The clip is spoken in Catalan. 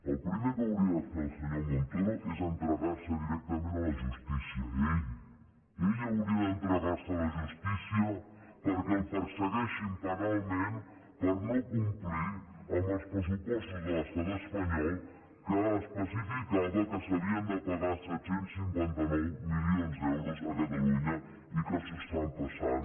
el primer que hauria de fer el senyor montoro és entregar se directament a la justícia ell ell hauria d’entregar se a la justícia perquè el persegueixin penalment per no complir amb els pressupostos de l’estat espanyol que especificaven que s’havien de pagar set cents i cinquanta nou milions d’euros a catalunya i que s’ho estan passant